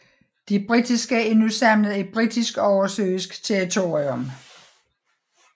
De britiske er nu samlet i Britisk oversøisk territorium